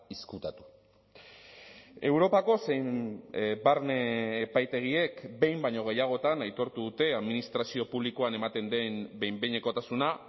ezkutatu europako zein barne epaitegiek behin baino gehiagotan aitortu dute administrazio publikoan ematen den behin behinekotasuna